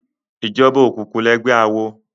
Ijòbá ókúkú lègbè àwó